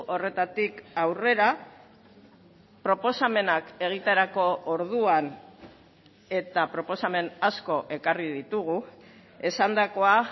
horretatik aurrera proposamenak egiterako orduan eta proposamen asko ekarri ditugu esandakoa